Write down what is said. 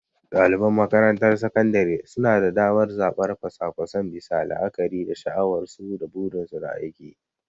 Daliban makarantar sakandare suna da damar zabar kwasa-kwasan bisa la'akari da sha'awarsu da burinsu na aiki.